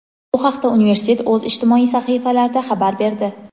Bu haqda universitet o‘z ijtimoiy sahifalarida xabar berdi.